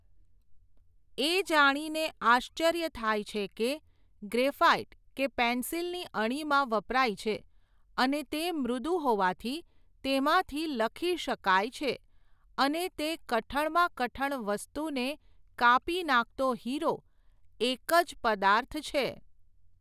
એ જાણીને આશ્ચર્ય થાય છે કે, ગ્રેફાઇટ કે પેન્સિલની અણીમાં વપરાય છે, અને તે મૃદુ હોવાથી તેમાંથી લખી શકાય છે, તે અને કઠણમાં કઠણ વસ્તુને કાપી નાખતો હિરો, એક જ પદાર્થ છે.